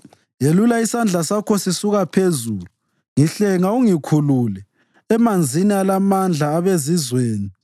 Yelula isandla sakho sisuka phezulu; ngihlenga ungikhulule emanzini alamandla abezizweni